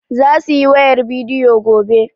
Za su yi wayar bidiyo gobe.